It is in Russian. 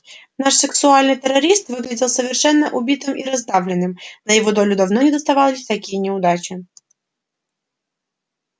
наш сексуальный террорист выглядел совершенно убитым и раздавленным на его долю давно не доставались такие неудачи